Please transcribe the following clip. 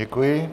Děkuji.